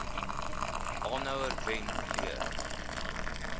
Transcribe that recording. aanhouer wen leer